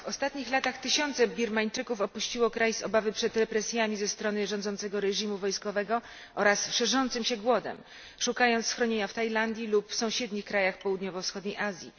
W ostatnich latach tysiące Birmańczyków opuściło kraj z obawy przed represjami ze strony rządzącego reżimu wojskowego oraz szerzącym się głodem, szukając schronienia w Tajlandii lub sąsiednich krajach południowo wschodniej Azji.